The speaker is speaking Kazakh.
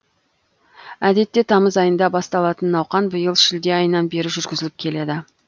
әдетте тамыз айында басталатын науқан биыл шілде айынан бері жүргізіліп келеді